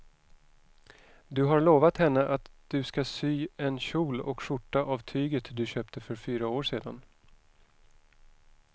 Du har lovat henne att du ska sy en kjol och skjorta av tyget du köpte för fyra år sedan.